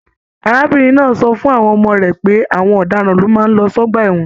Arábìnrin náà sọ fún àwọn ọmọ rẹ pé àwọn ọdaràn ló máa n lọ sí ọgbà ẹwọn